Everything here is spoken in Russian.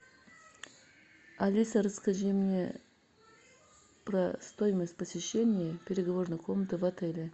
алиса расскажи мне про стоимость посещения переговорной комнаты в отеле